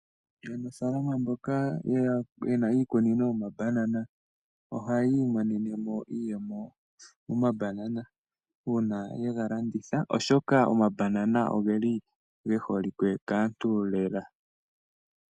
Aanafalama mboka yena iikunino yoma banana ohayii monenemo iiyemo moma banana oshoka oma banana ogeli ge holike kaantu lela